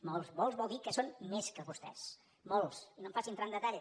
molts vol dir que són més que vostès molts i no em faci entrar en detall